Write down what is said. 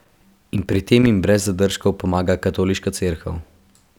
In pri tem jim brez zadržkov pomaga Katoliška cerkev.